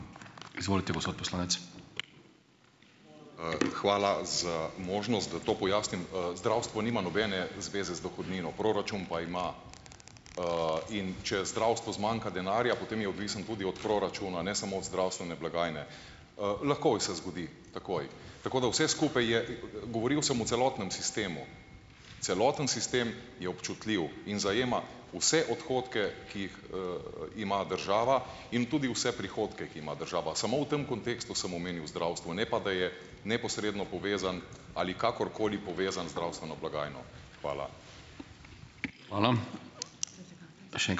Hvala za možnost, da to pojasnim. Zdravstvo nima nobene zveze z dohodnino, proračun pa ima. In če zdravstvu zmanjka denarja, potem je odvisen tudi od proračuna, ne samo od zdravstvene blagajne. lahko se zgodi takoj. Tako da vse skupaj je, govoril sem o celotnem sistemu. Celoten sistem je občutljiv in zajema vse odhodke, ki jih ima država, in tudi vse prihodke, ki ima država. Samo v tem kontekstu sem omenil zdravstvo, ne pa da je neposredno povezan ali kakorkoli povezan zdravstveno blagajno. Hvala.